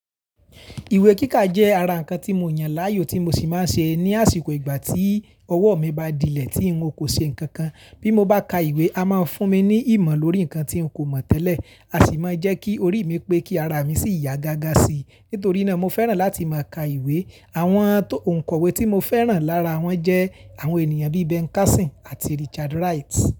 Ìwé kíkà jẹ́ ara ǹkan tí mo yàn láàyò tí mo sì máa ń ṣe ní àsìkò ìgbà tí ọwọ́ mi bá dilẹ̀ tí n kò ṣe nǹkan kan. Bí mo bá ka ìwé, a máa fún mi ní ìmọ̀ lórí ǹkan tí n kò mọ̀ tẹ́lẹ̀, a sì máa ń jẹ́ kí orí mi pé kí ara mi sì yá gágá sí i. Nítorí náà, mo fẹ́ràn láti máa ka ìwé. Àwọn nkòwe tí mo fẹ́ràn lára wọ́n jẹ́ àwọn ènìyàn bí i Ben Carson àti Richard Wright.